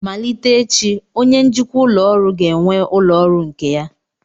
Malite echi, onye njikwa ụlọ ọrụ ga-enwe ụlọ ọrụ nke ya